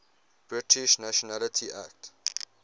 british nationality act